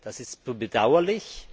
Das ist bedauerlich.